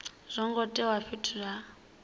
zwo ngo tendelwa fhethu ha